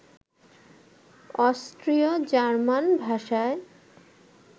অস্ট্রীয় German ভাষায়